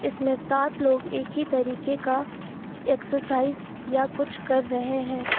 इसमें सात लोग एक ही तरीके का एक्सरसाइज या कुछ कर रहे हैं।